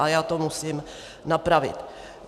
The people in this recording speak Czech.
A já to musím napravit.